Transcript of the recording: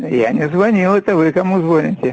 я не звонил это вы кому звоните